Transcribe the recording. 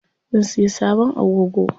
Zan siya sabon agogo.